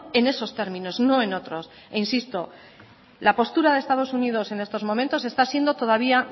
en esos términos no en otros e insisto la postura de estados unidos en estos momentos está siendo todavía